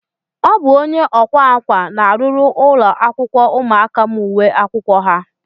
Ọ bụ onye ọkwa akwa na-arụrụ ụlọakwụkwọ ụmụaka m uwe akwụkwọ ha